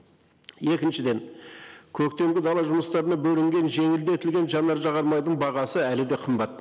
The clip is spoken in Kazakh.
екіншіден көктемгі дала жұмыстарына бөлінген жеңілдетілген жанар жағармайдың бағасы әлі де қымбат